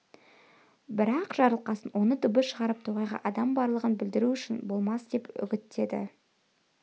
бірақ жарылқасын оны дыбыс шығарып тоғайда адам барлығын білдіру жақсы болмас деп үгіттеді